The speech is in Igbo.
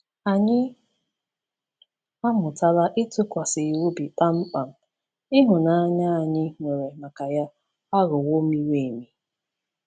Anyị amụtala ịtụkwasị ya obi kpamkpam, ịhụnanya anyị nwere maka ya aghọwo miri emi.